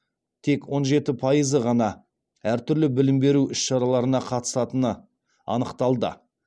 тек он жеті пайызы ғана әртүрлі білім беру іс шараларына қатысатыны анықталды